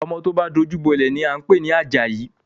Ọmọ tó bá dojú bọ́lẹ̀ ni à ń pè ní Àjàyí